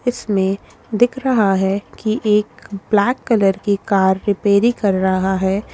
इसमें दिख रहा है कि एक ब्लैक कलर की कार रिपेयरिंग कर रहा हैं।